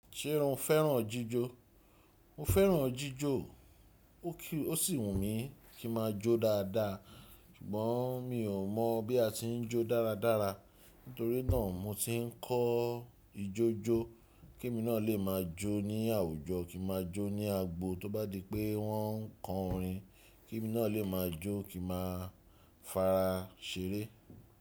Ṣé o fẹ́ràn jíjó? Mo fẹ́ràn jíjó, ó sì wù mí kí ma jó dáadáa, ṣùgbọ́n mi ò mọ̀ bí a ti ń jó dáradára. Nítorí náà mo ti ń kọ́ ijójó ké mi náà lè máa jó ní àwùjọ, kí ma jó ní agbo tó bá di pé wọ́n ń kọ orin, kí mi náà lè máa jó, kí ma fara ṣeré.